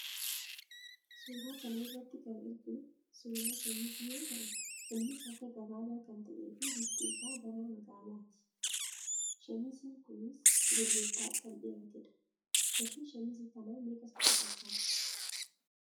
Suuraa kana irratti kan arginu suuraa shamizii yoo ta'u, innis harka gabaabaa kan ta'ee fi bifti isaa gara magaalaadha. Shamiziin kunis gurguraaf kan dhiyaatedha. Gatiin shamizii kanaa meeqa sitti fakkaata?